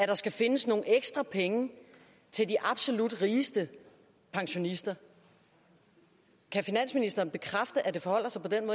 der skal findes nogle ekstra penge til de absolut rigeste pensionister kan finansministeren bekræfte at det forholder sig på den